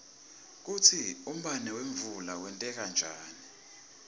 kutsi umbane wemvula wenteka njani